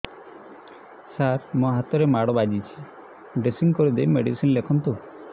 ସାର ମୋ ହାତରେ ମାଡ଼ ବାଜିଛି ଡ୍ରେସିଂ କରିଦେଇ ମେଡିସିନ ଲେଖନ୍ତୁ